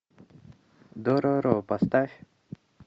дороро поставь